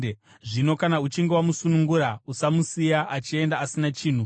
Zvino kana uchinge wamusunungura usamusiya achienda asina chinhu.